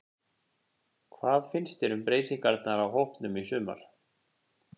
Hvað finnst þér um breytingarnar á hópnum í sumar?